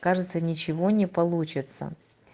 кажется ничего не получится